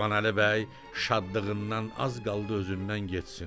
Qurbanəli bəy şadlığından az qaldı özündən getsin.